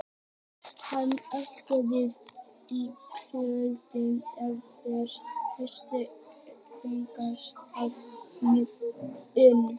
Hann fitlaði við loðhúfuna í kjöltunni, einhver hluti hugans dáðist að mýktinni.